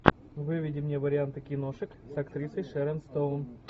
выведи мне варианты киношек с актрисой шерон стоун